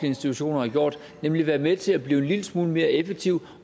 institutioner har gjort nemlig at være med til at blive en lille smule mere effektiv